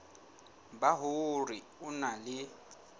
ba hore o na le